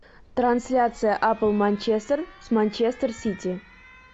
трансляция апл манчестер с манчестер сити